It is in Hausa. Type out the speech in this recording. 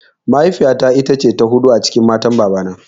Mahaifiya ta ita ce ta huɗu a cikin matan baba na